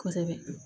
Kosɛbɛ